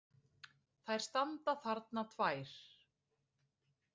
Þær standa þarna tvær!